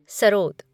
sarod